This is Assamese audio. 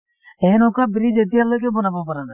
সেনেকোৱা bridge এতিয়ালৈকে বনাব পাৰা নাই